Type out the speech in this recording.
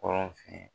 Kɔrɔ fɛ